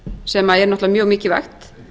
sem er náttúrlega mjög mikilvægt